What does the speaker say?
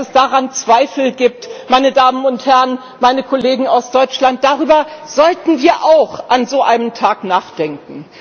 Dass es daran Zweifel gibt, meine Damen und Herren, meine Kollegen aus Deutschland, darüber sollten wir auch an so einem Tag nachdenken.